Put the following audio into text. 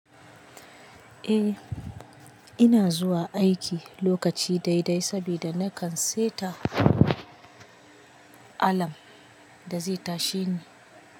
Eh, ina zuwa aiki lokaci daidai sabida na kan seta alarm da zai tashe ni.